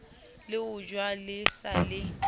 le ojwa le sa le